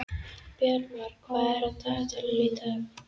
Bjarmar, hvað er á dagatalinu í dag?